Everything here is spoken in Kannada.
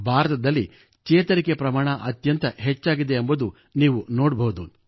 ಭಾರತದಲ್ಲಿ ಚೇತರಿಕೆ ಪ್ರಮಾಣ ಅತ್ಯಂತ ಹೆಚ್ಚಾಗಿದೆ ಎಂಬುದನ್ನು ನೀವು ನೋಡಬಹುದು